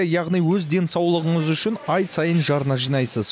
яғни өз денсаулығыңыз үшін ай сайын жарна жинайсыз